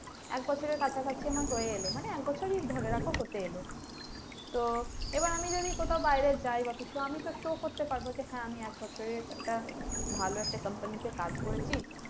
এক বছরের কাছাকাছি আমার হয়ে এলো মানে এক বছরই ধরে রাখো হতে এলো তো এবার আমি যদি কোথাও বাইরে যাই বা কিছু আমি তো show করতে পারবো যে হ্যাঁ আমি এক বছরের একটা ভালো একটা company তে কাজ করেছি।